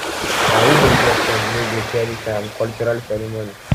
na who no get sense no go cherish im cultural ceremony